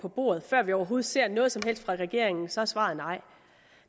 på bordet før vi overhovedet har set noget som helst fra regeringen så er svaret nej